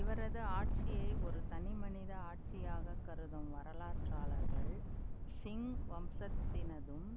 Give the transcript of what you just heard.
இவரது ஆட்சியை ஒரு தனிமனித ஆட்சியாகக் கருதும் வரலாற்றாளர்கள் சிங் வம்சத்தினதும்